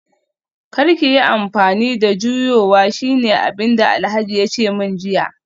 Kar ki yi amfani da juyowa shine abinda Alhaji yace min jiya